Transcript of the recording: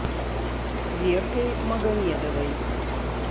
веркой магомедовой